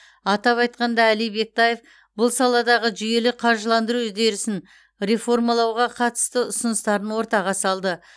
атап айтқанда әли бектаев бұл саладағы жүйелі қаржыландыру үдерісін реформалауға қатысты ұсыныстарын ортаға салды